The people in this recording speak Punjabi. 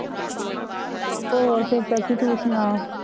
ਹੋਰ ਫਿਰ ਚਾਚੀ ਤੂੰ ਸੁਣਾ?